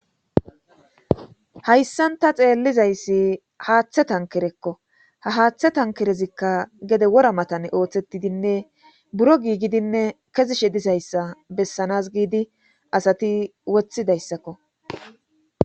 Hayssanta xeellizayssi haaththe tankerekko ha haaththe tankerezikka gede wora matane ooththetidinne buro giigidinne kezishe disayssa bessanas giidi asati woththidayssakko